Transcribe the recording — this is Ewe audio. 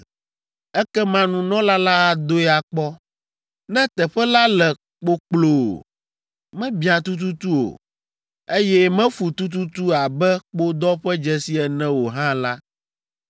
Ekema nunɔla la adoe akpɔ. Ne teƒe la le kpokploo, mebiã tututu o, eye mefu tututu abe kpodɔ ƒe dzesi ene o hã la,